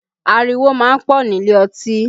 Ariwo máa ń pọ̀ nílé ọtí